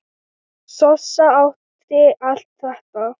Sossa átti allt þetta.